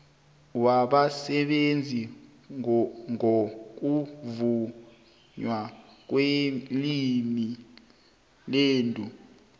wabasebenza ngokuvunywa kwemilandu